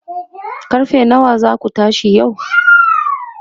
karfe nawa zaku tashi yau?